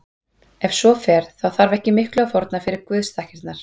Ef svo fer þá þarf ekki miklu að fórna fyrir guðsþakkirnar.